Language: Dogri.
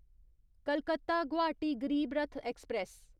कलकत्ता गुवाहाटी गरीब रथ ऐक्सप्रैस